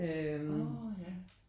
Når ja